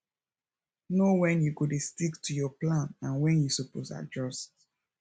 know wen you go dey stick to your plan and wen you suppose adjust